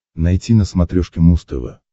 найти на смотрешке муз тв